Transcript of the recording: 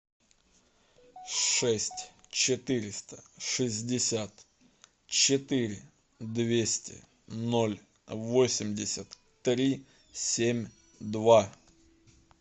шесть четыреста шестьдесят четыре двести ноль восемьдесят три семь два